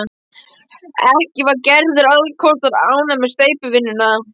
Ekki var Gerður alls kostar ánægð með steypuvinnuna.